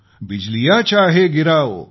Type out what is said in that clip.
बिजलियाँ चाहे गिराओ